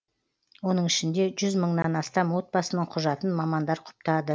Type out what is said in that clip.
оның ішінде жүз мыңнан астам отбасының құжатын мамандар құптады